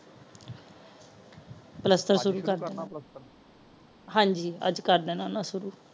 ਪਲੱਸਤਰ ਸ਼ੁਰੂ ਕਰਨਾ ਹਾਂਜੀ ਅਜ ਕਰ ਦੇਣਾ ਓਹਨਾ ਨੇ ਸ਼ੁਰੂ